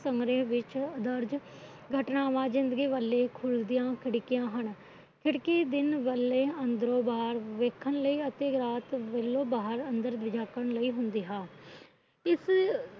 ਸੰਗ੍ਰੇਹ ਵਿੱਚ ਦਰਜ ਘਟਨਾਵਾਂ ਜਿੰਦਗੀ ਵੱਲ ਘੁਲਦੀਆਂ ਖਿੜਕੀਆਂ ਹਨ ਖਿੜਕੀ ਦਿਨ ਵੇਲੇ ਅੰਦਰੋ ਬਾਹਰ ਵੇਖਣ ਲਈ ਅਤੇ ਰਾਤ ਵੇਲੇ ਬਾਹਰ ਅੰਦਰ ਝਾਕਣ ਲਈ ਹੁੰਦਾ ਵਾ ਇਸ